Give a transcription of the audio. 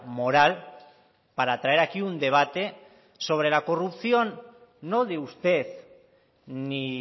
moral para traer aquí un debate sobre la corrupción no de usted ni